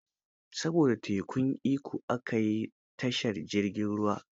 Saboda tekun Ikko, aka yi tashar jirgin ruwa.